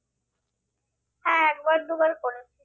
হ্যাঁ একবার দুবার করেছি।